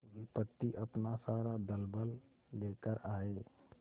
विपत्ति अपना सारा दलबल लेकर आए